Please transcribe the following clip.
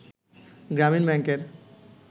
গ্রামীণ ব্যাংকের